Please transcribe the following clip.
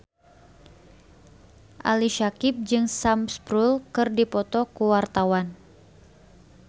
Ali Syakieb jeung Sam Spruell keur dipoto ku wartawan